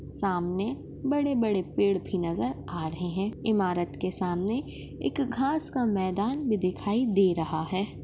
सामने बड़े-बड़े पेड़ भी नज़र आ रहे है इमारत के सामने एक घास का मैदान भी दिखाई दे रहा है।